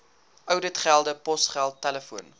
ouditgelde posgeld telefoon